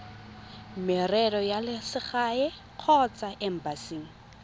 merero ya selegae kgotsa embasing